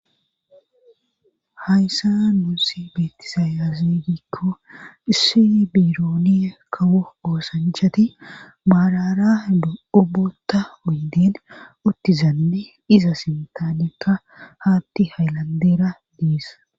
Hayssa nuusi beetisayasigikko issi birooni kawo oosanchati maarara ubota uydin uttizanne iza sintanekka haatti haylandera diis.